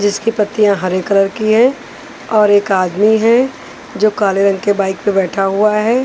जिसकी पत्तियाँ हरे कलर की है और एक आदमी है जो काले रंग के बाइक पे बैठा हुआ है।